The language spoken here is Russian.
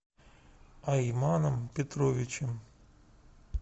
айманом петровичем